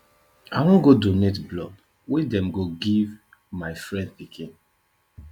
i wan go donate blood wey dem go give my friend pikin